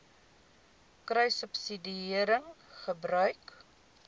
kruissubsidiëringgebruik